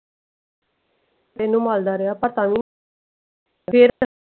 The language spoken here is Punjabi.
ਇਹਨੂੰ ਮਲਦਾ ਰਿਹਾ ਪਤਾ ਨੀ ਫੇਰ।